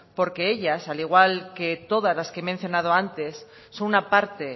porque ellas al igual que todas las que he mencionado antes son una parte